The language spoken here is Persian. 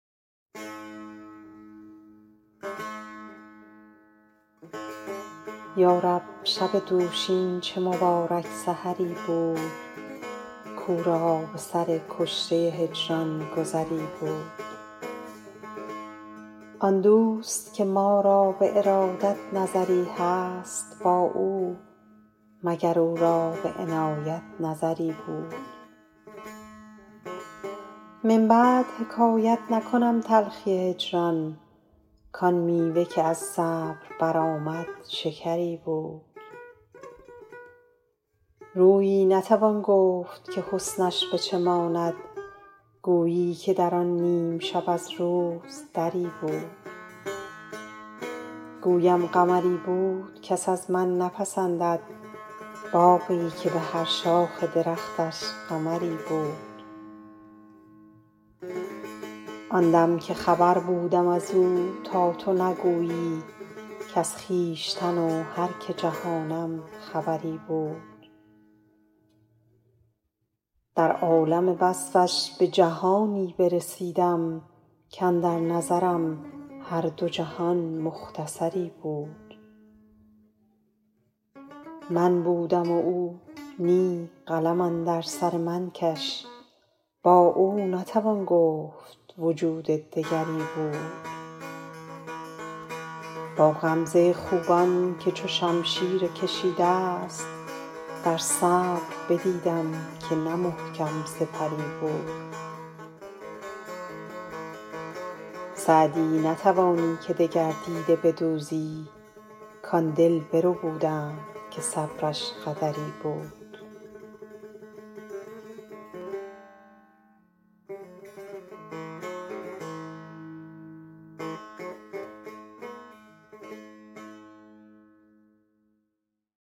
یا رب شب دوشین چه مبارک سحری بود کاو را به سر کشته هجران گذری بود آن دوست که ما را به ارادت نظری هست با او مگر او را به عنایت نظری بود من بعد حکایت نکنم تلخی هجران کآن میوه که از صبر برآمد شکری بود رویی نتوان گفت که حسنش به چه ماند گویی که در آن نیم شب از روز دری بود گویم قمری بود کس از من نپسندد باغی که به هر شاخ درختش قمری بود آن دم که خبر بودم از او تا تو نگویی کز خویشتن و هر که جهانم خبری بود در عالم وصفش به جهانی برسیدم کاندر نظرم هر دو جهان مختصری بود من بودم و او نی قلم اندر سر من کش با او نتوان گفت وجود دگری بود با غمزه خوبان که چو شمشیر کشیده ست در صبر بدیدم که نه محکم سپری بود سعدی نتوانی که دگر دیده بدوزی کآن دل بربودند که صبرش قدری بود